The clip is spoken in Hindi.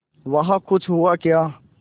वहाँ कुछ हुआ क्या